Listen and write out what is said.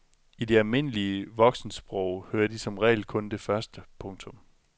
I det almindelige voksensprog hører de som regel kun det første. punktum